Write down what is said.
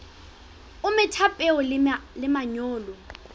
o metha peo le manyolo